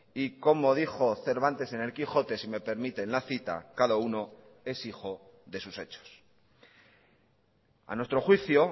y como dijo cervantes en el quijote si me permiten la cita cada uno es hijo de sus hechos a nuestro juicio